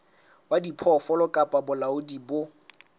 wa diphoofolo kapa bolaodi bo